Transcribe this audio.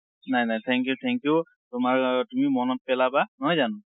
নাই, নাই। thank you, thank you। তুমি মনত পেলাবা, নহয় জানো?